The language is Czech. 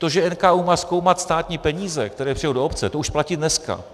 To, že NKÚ má zkoumat státní peníze, které přijdou do obce, to už platí dneska.